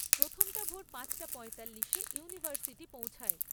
প্রথমটা ভোর পাঁচটা পঁয়তাল্লিশে ইউনিভার্সিটি পৌঁছায়।